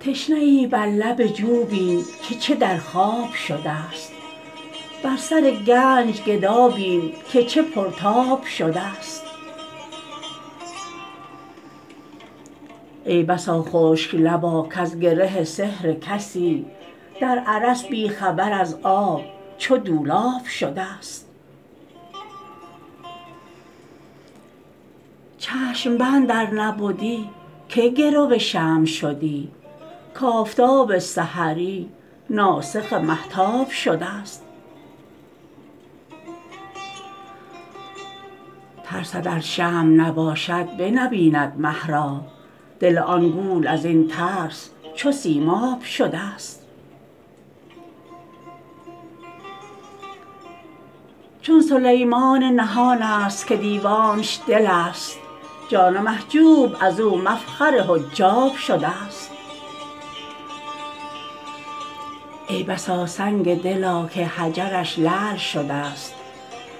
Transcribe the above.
تشنه بر لب جو بین که چه در خواب شدست بر سر گنج گدا بین که چه پرتاب شدست ای بسا خشک لبا کز گره سحر کسی در ارس بی خبر از آب چو دولاب شدست چشم بند ار نبدی که گرو شمع شدی کآفتاب سحری ناسخ مهتاب شدست ترسد ار شمع نباشد بنبیند مه را دل آن گول از این ترس چو سیماب شدست چون سلیمان نهان است که دیوانش دل است جان محجوب از او مفخر حجاب شدست ای بسا سنگ دلا که حجرش لعل شدست